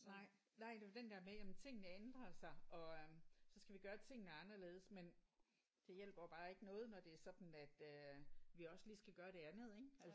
Nej det er jo den der med jamen tingene ændrer sig og så skal vi gøre tingene anderledes. Men det hjælper jo bare ikke noget når det er sådan at øh vi også lige skal gøre det andet ik?